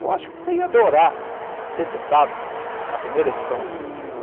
Eu acho que você ia adorar ser citado na primeira edição do livro dele.